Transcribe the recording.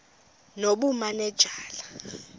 nobumanejala